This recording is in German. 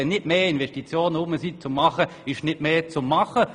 Wenn nicht mehr Projekte vorhanden sind, gibt es eben nicht mehr zu tun.